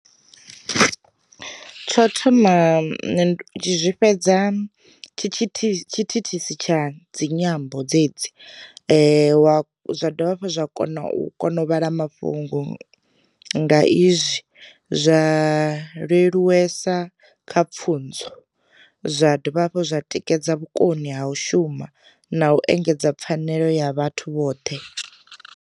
Tsho thoma ndi zwi fhedza tshi thithisi tsha dzi nyambo dzedzi, wa dovha hafhu zwa kona u kona u vhala mafhungo nga izwi, zwa leluwesa kha pfhunzo, zwa dovha hafhu zwa tikedza vhukoni ha u shuma na u engedza pfanelo ya vhathu vhoṱhe.